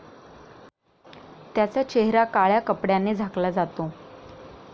त्याचा चेहरा काळय़ा कपडय़ाने झाकला जातो.